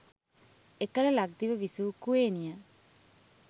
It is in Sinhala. එකල ලක්දිව විසූ කුවේණිය